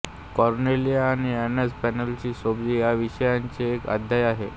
Cornelia आणि Alice Pennell Sorabji यांच्याविषयीचे एक अध्याय आहे